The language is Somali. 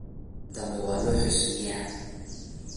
Beriyahan dambe waalu xusmeyya.